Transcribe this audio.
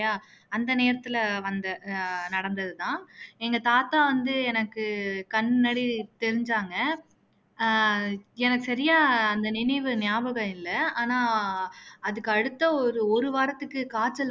அந்த நேரத்துல வந்த நடந்தது தான் எங்க தாத்தா வந்து எனக்கு கண் முன்னாடி தெரிஞ்சாங்க அஹ் எனக்கு சரியா அந்த நினைவு ஞாபகம் இல்ல ஆனா அதுக்கு அடுத்த ஒரு ஒரு வாரத்துக்கு காய்ச்சல்